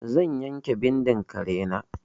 Zan yanke bindin kare na.